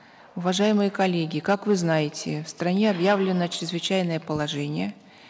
уважаемые коллеги как вы знаете в стране объявлено чрезвычайное положение